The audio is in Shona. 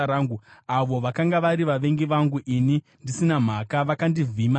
Avo vakanga vari vavengi vangu ini pasina chikonzero vakandivhima seshiri.